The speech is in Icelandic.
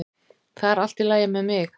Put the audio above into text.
Það er allt í lagi með mig